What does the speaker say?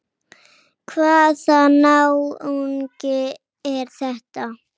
Hvaða náungi er þetta?